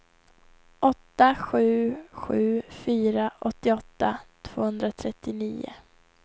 åtta sju sju fyra åttioåtta tvåhundratrettionio